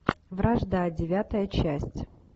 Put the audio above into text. вражда девятая часть